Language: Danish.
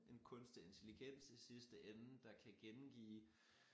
En kunstig intelligens i sidste ende der kan gengive